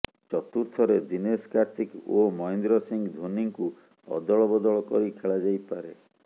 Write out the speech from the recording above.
ଚତୁର୍ଥରେ ଦୀନେଶ କାର୍ତିକ ଓ ମହେନ୍ଦ୍ର ସିଂହ ଧୋନିଙ୍କୁ ଅଦଳ ବଦଳ କରି ଖେଳାଯାଇପାରେ